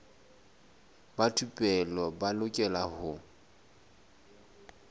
ba thupelo ba lokela ho